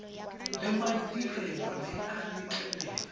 le madirelo le a letlelela